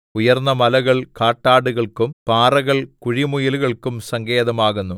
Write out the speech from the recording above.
ഉയർന്നമലകൾ കാട്ടാടുകൾക്കും പാറകൾ കുഴിമുയലുകൾക്കും സങ്കേതമാകുന്നു